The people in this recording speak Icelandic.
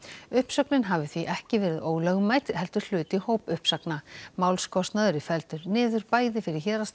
uppsögnin hafi því ekki verið ólögmæt heldur hluti hópuppsagna málskostnaður er felldur niður bæði fyrir héraðsdómi